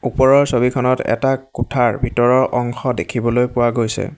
ওপৰৰ ছবিখনত এটা কোঠাৰ ভিতৰৰ অংশ দেখিবলৈ পোৱা গৈছে।